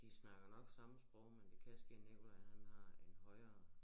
De snakker nok samme sprog men det kan ske Nikolaj han har en højere